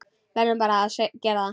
Verðum bara að gera það.